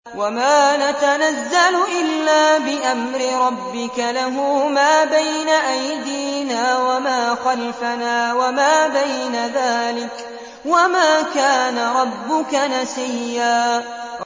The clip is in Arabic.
وَمَا نَتَنَزَّلُ إِلَّا بِأَمْرِ رَبِّكَ ۖ لَهُ مَا بَيْنَ أَيْدِينَا وَمَا خَلْفَنَا وَمَا بَيْنَ ذَٰلِكَ ۚ وَمَا كَانَ رَبُّكَ نَسِيًّا